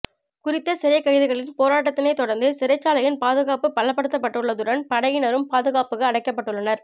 குறித்த சிறைக் கைதிகளின் போராட்டத்தினை தொடர்ந்து சிறைச்சாலையின் பாதுகாப்பு பலப்படுத்தப் பட்டுள்ளதுடன் படையினரும் பாதுகாப்புக்கு அழைக்கப்பட்டுள்ளனர்